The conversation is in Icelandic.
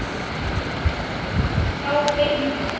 Þá finnum við þig.